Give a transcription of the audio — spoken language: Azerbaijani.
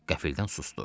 Qəfildən susdu.